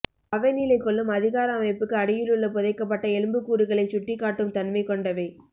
அவை நிலைகொள்ளும் அதிகார அமைப்புக்கு அடியிலுள்ள புதைக்கப்பட்ட எலும்புக்கூடுகளைச் சுட்டிக்காட்டும் தன்மை கொண்டவை